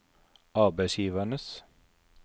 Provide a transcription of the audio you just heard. arbeidsgivernes